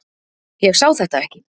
Ég sá þetta ekki.